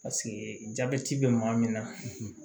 jabɛti bɛ maa min na